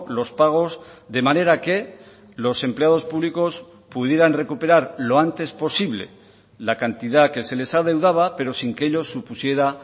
los pagos de manera que los empleados públicos pudieran recuperar lo antes posible la cantidad que se les adeudaba pero sin que ello supusiera